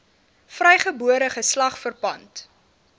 vrygebore geslag verpand